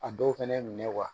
A dɔw fɛnɛ minɛ wa